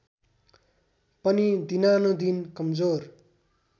पनि दिनानुदिन कमजोर